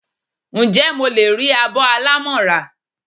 Njé mo le ri abó alámo ra?